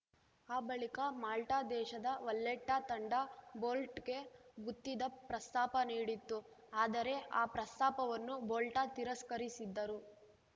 ಆ ಬಳಿಕ ಮಾಲ್ಟದೇಶದ ವಲ್ಲೆಟ್ಟಾತಂಡ ಬೋಲ್ಟ್‌ಗೆ ಗುತ್ತಿದ ಪ್ರಸ್ತಾಪ ನೀಡಿತ್ತು ಆದರೆ ಆ ಪ್ರಸ್ತಾಪವನ್ನು ಬೋಲ್ಟ ತಿರಸ್ಕರಿಸಿದ್ದರು